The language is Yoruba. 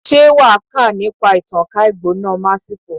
Ṣé wà á kà nípa ìtànká ìgbóná Masiko?